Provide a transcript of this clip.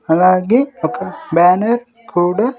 అలాగే ఒక బ్యానర్ కూడా.